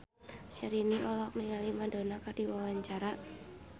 Syahrini olohok ningali Madonna keur diwawancara